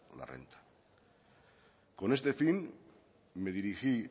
la renta con este fin me dirigí